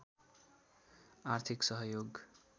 आर्थिक सहयोग